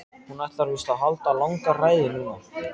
Hún ætlar víst að halda langa ræðu núna.